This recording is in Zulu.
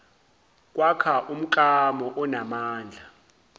kwakha umklamo onamandla